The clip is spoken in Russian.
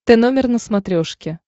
т номер на смотрешке